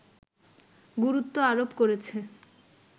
গুরুত্ব আরোপ করেছে